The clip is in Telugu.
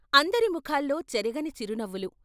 అందరి ముఖాల్లో చెరగని చిరునవ్వులు.